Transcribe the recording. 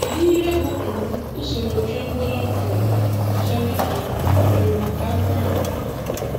Kedu ihe bụ um usoro Trenbolone Oral kacha dị um irè maka akwara?